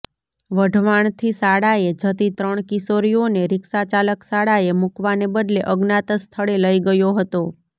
વઢવાણથી શાળાએ જતી ત્રણ કિશોરીઓને રીક્ષાચાલક શાળાએ મુકવાને બદલે અજ્ઞાત સ્થળે લઈ ગયો હતો